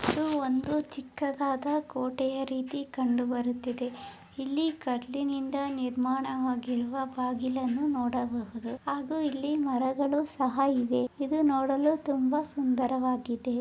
ಇದು ಒಂದು ಚಿಕ್ಕದಾದ ಕೋಟೆಯ ರೀತಿ ಕಂಡುಬರುತ್ತಿದೆ ಇಲ್ಲಿ ಕಲ್ಲಿನಿಂದ ನಿರ್ಮಾಣವಾರುವ ಬಾಗಿಲನ್ನು ನೋಡಬಹುದು ಹಾಗೂ ಇಲ್ಲಿ ಮರಗಳು ಸಹ ಇವೆ ಇದನ್ನು ನೋಡಲು ತುಂಬಾ ಸುಂದರವಾಗಿದೆ.